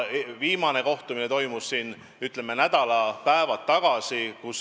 Viimane kohtumine toimus siin nädalapäevad tagasi.